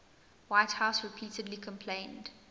whitehouse repeatedly complained